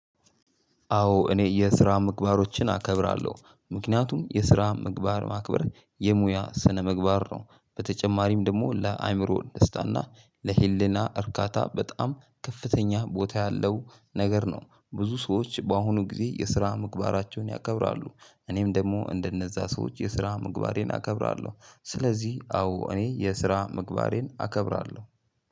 አዎ እኔ የስራ ምግባሮችን አከብራለሁ ምክንያቱም የስራ ምግባር ማክበር የሙያ ስነ ምግባር ነው በተጨማሪም ደግሞ ለአእምሮ ደስታና ለህሊና እርካታ በጣም ከፍተኛ ቦታ ያለው ነገር ነው። ብዙ ሰዎች በአሁኑ ጊዜ የስራ ምግባራቸውን ያከብራሉ። እኔም ደግሞ እንደነዛ ሰዎች የስራ ምግባሬን አከብራለሁ። ስለዚህ አዎ እኔ የስራ ምግባሬን አከብራለሁ።